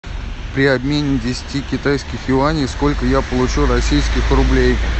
при обмене десяти китайских юаней сколько я получу российских рублей